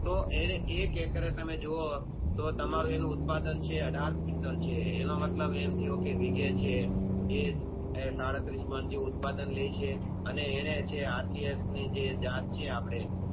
તો એ એક Hector એ તમે જોવો તો તમારે એનું ઉત્પાદન અઢાર વિકારત છે એનો મતલબ મ થયો કે એ વીઘે છે અને જે ઉત્પાદન લેય છે